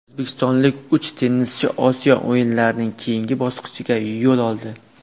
O‘zbekistonlik uch tennischi Osiyo o‘yinlarining keyingi bosqichiga yo‘l oldi.